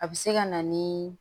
A bɛ se ka na ni